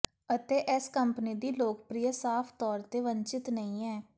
ਅਤੇ ਇਸ ਕੰਪਨੀ ਦੀ ਲੋਕਪ੍ਰਿਅਤਾ ਸਾਫ ਤੌਰ ਤੇ ਵੰਚਿਤ ਨਹੀਂ ਹੈ